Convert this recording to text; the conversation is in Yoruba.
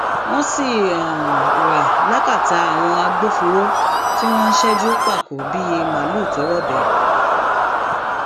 wọn sì um wà lákàtà àwọn agbófinró tí wọn ń ṣẹjú pákó bíi màlùú tó um rọbẹ